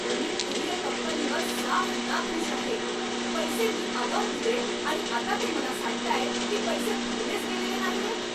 मी courier कंपनीवर साफ नाखूष आहे. पैसे मी आगाऊ दिले आणि आता ते मला सांगतायत की पैसे भरलेच गेलेले नाहीयेत!